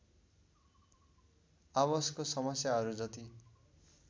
आवासको समस्याहरू जति